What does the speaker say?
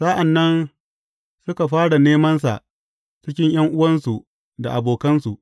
Sa’an nan suka fara nemansa cikin ’yan’uwansu da abokansu.